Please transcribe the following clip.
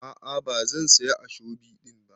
A'a bazan siya ashobi din ba.